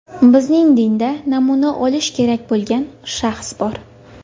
Bizning dinda namuna olish kerak bo‘lgan shaxs bor.